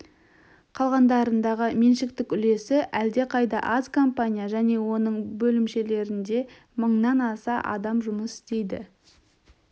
қалғандарындағы меншіктік үлесі әлдеқайда аз компания және оның бөлімшелерінде мыңнан аса адам жұмыс істейді